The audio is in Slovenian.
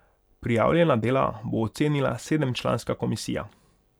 Prijavljena dela bo ocenila sedemčlanska komisija.